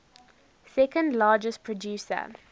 second largest producer